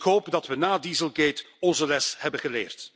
Ik hoop dat we na dieselgate onze les hebben geleerd.